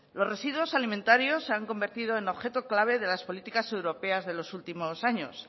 los residuos alimentarios se han convertido en objeto clave de las políticas europeas de los últimos años